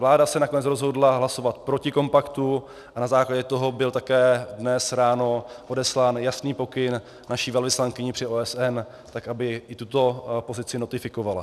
Vláda se nakonec rozhodla hlasovat proti kompaktu a na základě toho byl také dnes ráno odeslán jasný pokyn naší velvyslankyni při OSN tak, aby i tuto pozici notifikovala.